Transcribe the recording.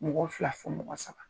Mɔgɔ fila fɔ mɔgɔ saba,